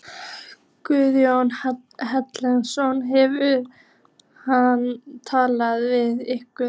Guðjón Helgason: Hefur hann talað við ykkur?